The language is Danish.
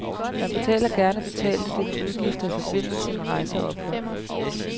Man betaler gerne betalte dine udgifter i forbindelse med rejse og ophold.